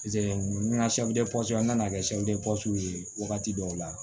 n ka n nana kɛ ye wagati dɔw la